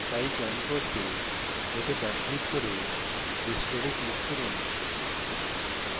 file চয়ন করুন এতে ডান click করে restore এ click করুন